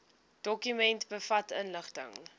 dokument bevat inligting